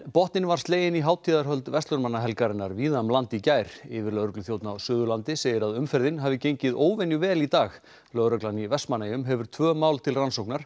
botninn var sleginn í hátíðarhöld verslunarmannahelgarinnar víða um land í gær yfirlögregluþjónn á Suðurlandi segir að umferðin hafi gengið óvenju vel í dag lögreglan í Vestmannaeyjum hefur tvö mál til rannsóknar